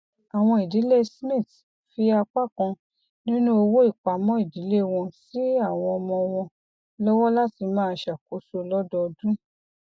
àwọn idílé smith fi apá kan nínú owó ìpamọ ìdílé wọn sí àwọn ọmọ wọn lọwọ láti máa ṣakoso lọdọọdún